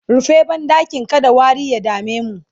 rufe banɗakin kada wari ya damemu!